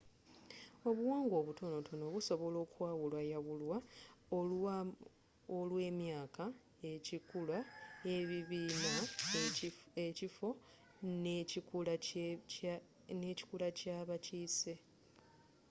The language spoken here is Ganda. obuwangwa obutonotono busobola okwawulwayawulwa olwemyaka ekikula ebibiina ekifo n'ekikula kyabakiise